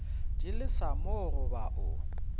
di lesa mo goba o